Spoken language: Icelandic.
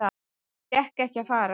Hann fékk ekki að fara.